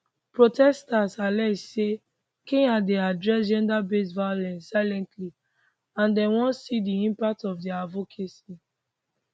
protesters allege say kenya dey address genderbased violence silently and dem wan see di impact of dia advocacy